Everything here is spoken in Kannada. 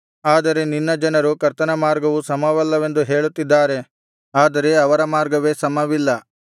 ಆದರೆ ನಿನ್ನ ಜನರು ಕರ್ತನ ಮಾರ್ಗವು ಸಮವಲ್ಲವೆಂದು ಹೇಳುತ್ತಿದ್ದಾರೆ ಆದರೆ ಅವರ ಮಾರ್ಗವೇ ಸಮವಿಲ್ಲ